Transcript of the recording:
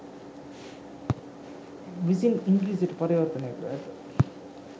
විසින් ඉංග්‍රීසියට පරිවර්තනය කර ඇත